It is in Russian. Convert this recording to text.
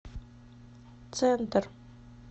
центр